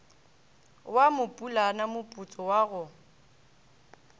wa mopulana moputso wa go